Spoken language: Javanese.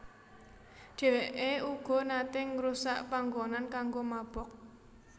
Dheweke uga nate ngrusak panggonan kanggo mabok